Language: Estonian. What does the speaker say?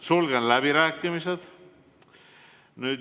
Sulgen läbirääkimised.